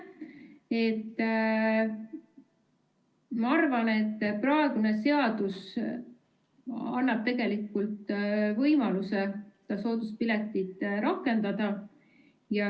Ma arvan, et praegune seadus annab tegelikult võimaluse sooduspiletit rakendada.